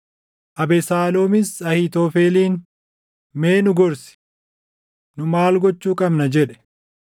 Abesaaloomis Ahiitofeliin, “Mee nu gorsi. Nu maal gochuu qabna?” jedhe.